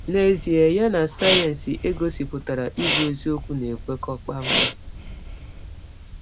N’ezie, ya na sayensị e gọsipụtara ịbụ eziọkwu na - ekwekọ kpam kpam.